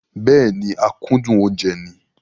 Bẹ́ẹ̀ni, akúndùn oúnjẹ ni.